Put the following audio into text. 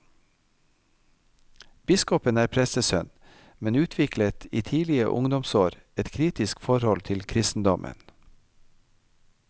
Biskopen er prestesønn, men utviklet i tidlige ungdomsår et kritisk forhold til kristendommen.